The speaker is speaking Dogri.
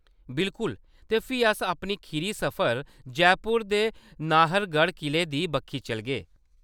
बिल्कुल। ते फ्ही अस अपने खीरी सफर, जयपुर दे नाहरगढ़ किले दी बक्खी चलगे।